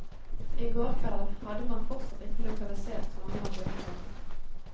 I går kveld hadde man fortsatt ikke lokalisert mange av de omkomne.